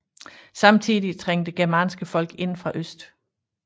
Samtidig trængte germanske folk ind fra øst